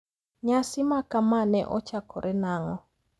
Nyasi makama ne ochakore nang`o?